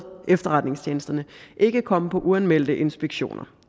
efterretningstjenesterne ikke komme på uanmeldte inspektioner